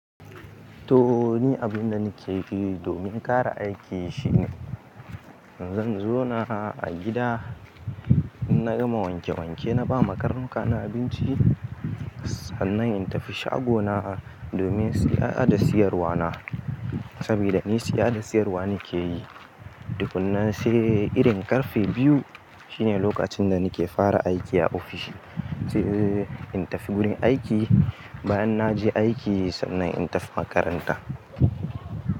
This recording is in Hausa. To ni abinda nike yi domin kara aiki shine, zan zo na a gida. In na gama wanke wanke na ba ma karnuka na abinci, sannan in tafi shago na domin siya da siyarwa na. Sabida ni siya da siyarwa nike yi. Tukanna sai irin karfe biyu shine lokacin da nike fara aiki a ofishi. Sai in tafi gurin aiki bayan na je aiki sannan in tafi makaranta.